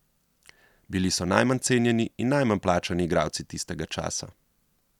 Bili so najmanj cenjeni in najmanj plačani igralci tistega časa.